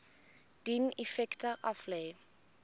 dien effekte aflê